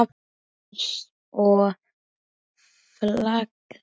Einsog flagð.